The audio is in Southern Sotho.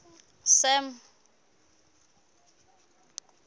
sam